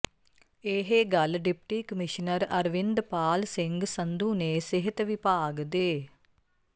ਇਹ ਗੱਲ deputy commissioner Arvind Pal Singh Sandhu ਨੇ ਸਿਹਤ ਵਿਭਾਗ ਦੇ